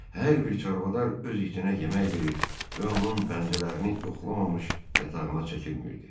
Hər bir çarvadar öz itinə yemək verir və onun pəncələrini yoxlamamış yatağına çəkilmirdi.